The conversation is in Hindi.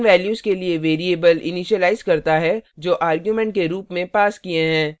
यह उन values के लिए variables इनिशीलाइज करता है जो arguments के रूप में passed किये हैं